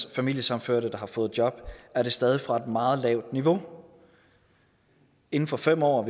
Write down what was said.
og familiesammenførte der har fået job er det stadig fra et meget lavt niveau inden for fem år